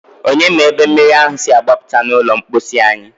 Onye ma ebe mmiri ahụ si agbapụta n'ụlọ mposi anyị?